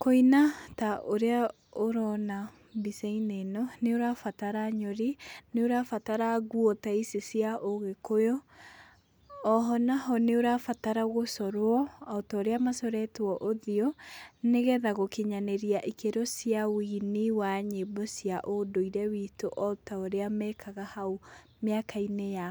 Kũina ta ũrĩa ũrona mbicainĩ ĩno nĩũrabatara nyũri, nĩũrabatara nguo ta ici cia ũgĩkũyũ oho naho nĩũra batara gũcorwo otoria macoretwo ũthiũ nigetha gũkinyanĩria ikĩro cĩa wĩini wa nyĩmbo cia ũndũire witũ otorĩa mekaga haũ mĩakainĩ ya